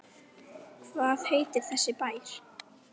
Hvað heitir þessi bær?